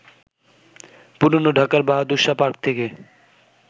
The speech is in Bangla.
পুরনো ঢাকার বাহাদুর শাহ পার্ক থেকে